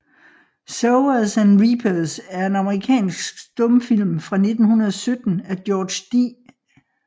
Sowers and Reapers er en amerikansk stumfilm fra 1917 af George D